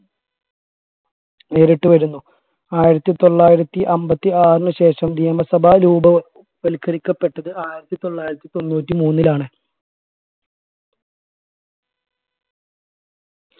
നേരിട്ട് വരുന്നു ആയിരത്തി തൊള്ളായിരത്തി അമ്പത്തി ആറിന് ശേഷം നിയമസഭ രൂപവ ൽക്കരിക്കപ്പെട്ടത് ആയിരത്തി തൊള്ളായിരത്തി തൊണ്ണൂറ്റി മൂന്നിലാണ്